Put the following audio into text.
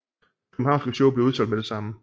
Det københavnske show blev udsolgt med det samme